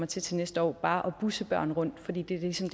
til til næste år bare kommer at busse børn rundt fordi det ligesom